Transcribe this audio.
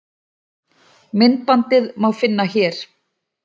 myndbandið má finna hér